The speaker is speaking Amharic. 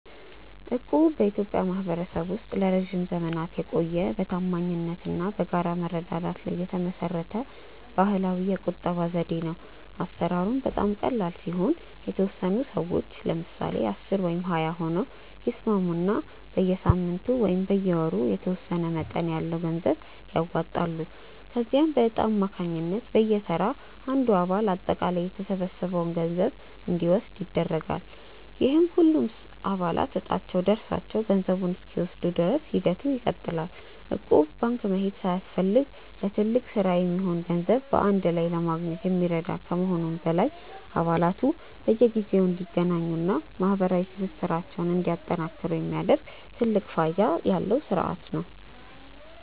እቁብ በኢትዮጵያ ማኅበረሰብ ውስጥ ለረጅም ዘመናት የቆየ፣ በታማኝነት እና በጋራ መረዳዳት ላይ የተመሠረተ ባሕላዊ የገንዘብ ቁጠባ ዘዴ ነው። አሠራሩም በጣም ቀላል ሲሆን፤ የተወሰኑ ሰዎች (ለምሳሌ 10 ወይም 20 ሆነው) ይስማሙና በየሳምንቱ ወይም በየወሩ የተወሰነ መጠን ያለው ገንዘብ ያዋጣሉ። ከዚያም በዕጣ አማካኝነት በየተራ አንዱ አባል አጠቃላይ የተሰበሰበውን ገንዘብ እንዲወስድ ይደረጋል፤ ይህም ሁሉም አባላት ዕጣቸው ደርሷቸው ገንዘቡን እስኪወስዱ ድረስ ሂደቱ ይቀጥላል። እቁብ ባንክ መሄድ ሳያስፈልግ ለትልቅ ሥራ የሚሆን ገንዘብ በአንድ ላይ ለማግኘት የሚረዳ ከመሆኑም በላይ፣ አባላቱ በየጊዜው እንዲገናኙና ማኅበራዊ ትስስራቸውን እንዲያጠናክሩ የሚያደርግ ትልቅ ፋይዳ ያለው ሥርዓት ነው።